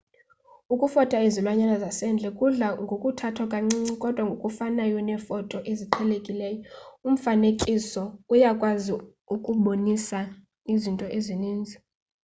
ukufota izilwanyana zasendle kudla ngokuthathwa kancinci kodwa ngokufanayo neefoto eziqhelekileyo umfanekiso uyakwazi ukubonisa izinto ezininzi